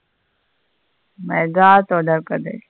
Mega தொடர்கதை.